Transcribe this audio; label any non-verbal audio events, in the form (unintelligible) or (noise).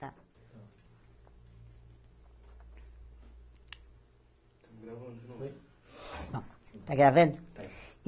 Está (unintelligible) está gravando?